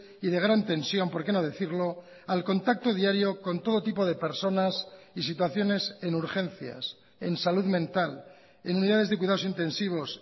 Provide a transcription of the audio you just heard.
y de gran tensión por qué no decirlo al contacto diario con todo tipo de personas y situaciones en urgencias en salud mental en unidades de cuidados intensivos